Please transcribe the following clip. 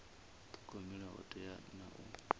thogomela ho teaho na u